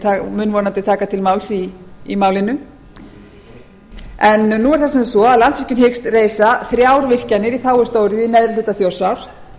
og mun vonandi taka til máls í málinu nú er það sem sagt svo að landsvirkjun hyggst reisa þrjár virkjanir í þágu stóriðju í neðri hluta þjórsár